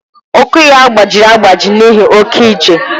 Ụkwụ ya gbajiri agbaji n'ihi oke ije.